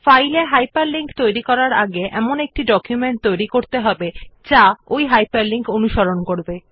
ফাইলে একটি হাইপারলিংক তৈরির আগে প্রথমে একটি ডকুমেন্ট তৈরী করতে হবে যেটি হাইপারলিঙ্কড হবে